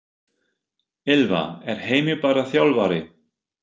Ylfa: Er Heimir bara þjálfari?